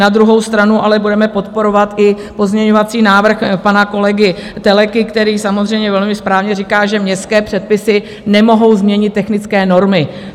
Na druhou stranu ale budeme podporovat i pozměňovací návrh pana kolegy Telekyho, který samozřejmě velmi správně říká, že městské předpisy nemohou změnit technické normy.